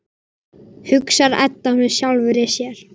hugsar Edda með sjálfri sér.